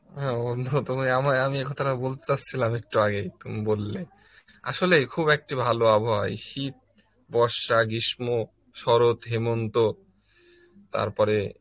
হ্যাঁ বন্ধু তুমি আমায় এ কথাটা বলতে যাচ্ছিলাম এক্তুয়াগেই তুমি বললে, আসলে খুব একটি ভালো আবহাওয়া এই শীত, বর্ষা, গ্রীষ্ম, সরত, হেমন্ত তারপরে